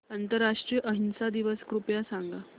आंतरराष्ट्रीय अहिंसा दिवस कृपया सांगा